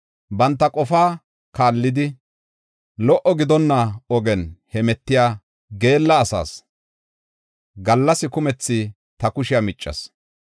Banta qofaa kaallidi, lo77o gidonna ogiyan hemetiya geella asaas gallas kumethi ta kushiya miccas.